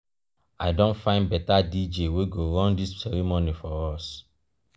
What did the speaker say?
i don find beta dj wey go run dis ceremony for us.